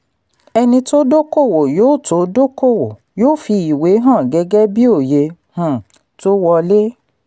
ẹni tó dókòwò yóò tó dókòwò yóò fi ìwé hàn gẹ́gẹ́ bíi oye um tó wọlé.